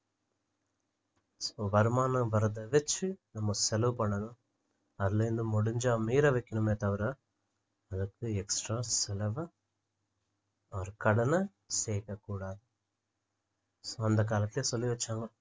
so வருமானம் வர்றத வச்சு நம்ம செலவு பண்ணணும் அதுல இருந்து முடிஞ்சா மீதம் வைக்கணுமே தவிர அதுக்கு extra செலவை or கடனை கேக்கக்கூடாது so அந்தகாலத்துல சொல்லி வைச்சாங்க